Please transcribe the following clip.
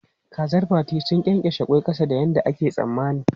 Kazar Fati sun ƙyenƙyashe ƙwai ƙasa da yadda ake tsammani.